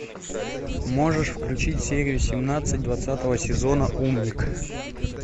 можешь включить серию семнадцать двадцатого сезона умник